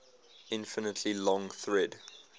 infinitely long thread